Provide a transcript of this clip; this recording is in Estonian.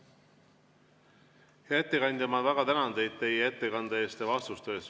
Hea ettekandja, ma väga tänan teid teie ettekande eest ja vastuste eest!